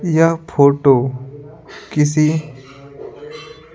यह फोटो किसी --